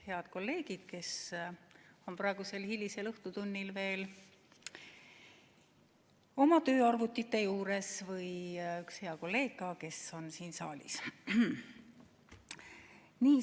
Head kolleegid, kes on praegusel hilisel õhtutunnil veel oma tööarvutite juures, ja ka üks hea kolleeg, kes on siin saalis!